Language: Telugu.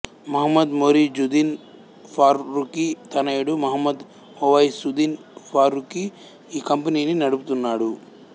మహ్మద్ మొయిజుద్దీన్ ఫారూఖీ తనయుడు మహ్మద్ ఓవైసుద్దీన్ ఫారూఖీ ఈ కంపెనీని నడుపుతున్నాడు